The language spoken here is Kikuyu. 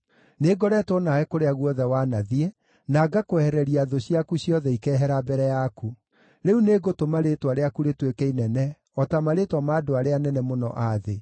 Nĩngoretwo nawe kũrĩa guothe wanathiĩ, na ngakwehereria thũ ciaku ciothe ikehera mbere yaku. Rĩu nĩngũtũma rĩĩtwa rĩaku rĩtuĩke inene o ta marĩĩtwa ma andũ arĩa anene mũno a thĩ.